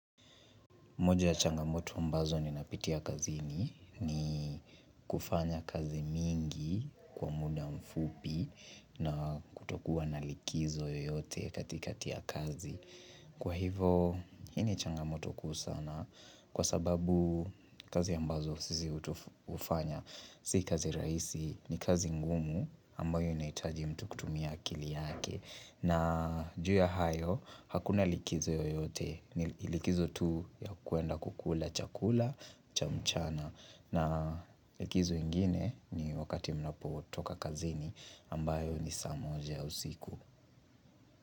Moja ya changamoto ambazo nimepitia kazini ni kufanya kazi mingi kwa muda mfupi na kutokuwa na likizo yoyote katikati ya kazi. Kwa hivo, hii ni changamoto kuu sana kwa sababu kazi ambazo sisi utufanya. Si kazi raisi ni kazi ngumu ambayo inaitaji mtu kutumia akili yake. Na juu ya hayo, hakuna likizo yoyote, ni likizo tu ya kuenda kukula chakula, cha mchana na likizo ingine ni wakati mnapotoka kazini ambayo ni saa moja usiku.